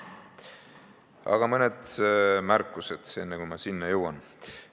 Aga mõned märkused enne, kui ma selle juurde jõuan.